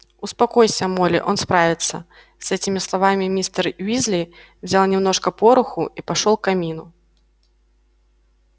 успокойся молли он справится с этими словами мистер уизли взял немножко пороху и пошёл к камину